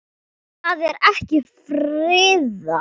Það er ekki friðað.